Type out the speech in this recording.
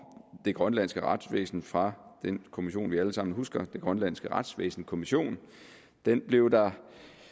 det grønlandske retsvæsen fra den kommission som vi alle sammen husker den grønlandske retsvæsenskommission den blev der